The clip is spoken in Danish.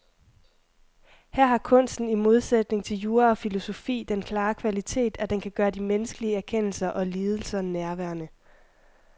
Her har kunsten i modsætning til jura og filosofi den klare kvalitet, at den kan gøre de menneskelige erkendelser og lidelser nærværende.